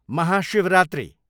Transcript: Mahashivratri